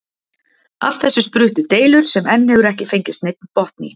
Af þessu spruttu deilur sem enn hefur ekki fengist neinn botn í.